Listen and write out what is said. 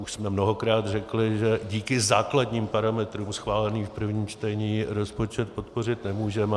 Už jsme mnohokrát řekli, že díky základním parametrům schváleným v prvním čtení rozpočet podpořit nemůžeme.